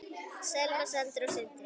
Selma, Sandra og Sindri.